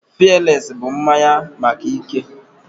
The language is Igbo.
Fialesi bụ mmanya maka ike